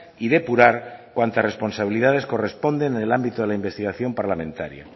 y depurar cuantas responsabilidades corresponden en el ámbito de la investigación parlamentaria